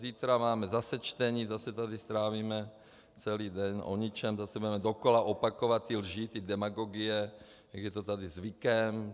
Zítra máme zase čtení, zase tady strávíme celý den o ničem, zase budeme dokola opakovat ty lži, ty demagogie, jak je to tady zvykem.